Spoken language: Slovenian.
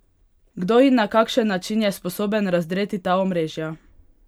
Kdo in na kakšen način je sposoben razdreti ta omrežja?